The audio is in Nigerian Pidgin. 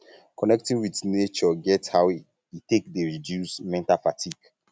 um connecting with nature get how um e um take dey reduce mental fatigue